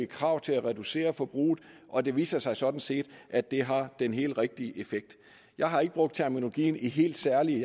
krav til at reducere forbruget og det viser sig sådan set at det har den helt rigtige effekt jeg har ikke brugt terminologien i helt særlige